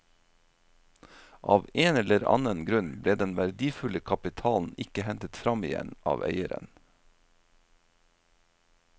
Av en eller annen grunn ble den verdifulle kapitalen ikke hentet fram igjen av eieren.